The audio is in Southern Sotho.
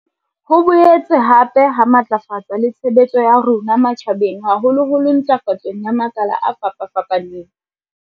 Ho boetse hape ha matlafatsa le tshebetso ya rona matjha beng haholoholo ntlafatsong ya makala a fapafapaneng.